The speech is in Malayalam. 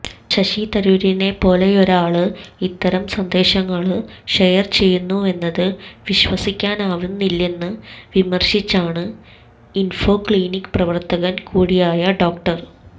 ശശി തരൂരിനെപ്പോലൊരാള് ഇത്തരം സന്ദേശങ്ങള് ഷെയര് ചെയ്യുന്നുവെന്നത് വിശ്വസിക്കാനാവുന്നില്ലെന്ന് വിമര്ശിച്ചാണ് ഇന്ഫൊക്ലിനിക് പ്രവര്ത്തകന് കൂടിയായ ഡോ